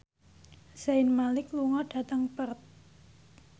Zayn Malik lunga dhateng Perth